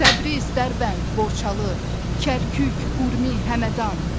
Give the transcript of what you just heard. Təbriz, Dərbənd, Borçalı, Kərkük, Urmi, Həmədan.